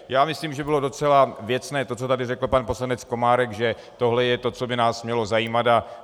Takže myslím, že bylo docela věcné to, co tady řekl pan poslanec Komárek, že tohle je to, co by nás mělo zajímat.